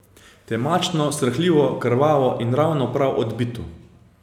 Temačno, srhljivo, krvavo in ravno prav odbito.